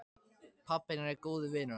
Pabbi hennar er góður vinur hans.